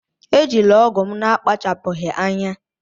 Ejila ọgụ m n'akpachapụghị anya!